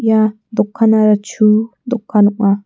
ia dokanara chu dokan ong·a.